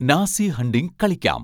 Nazi hunting കളിക്കാം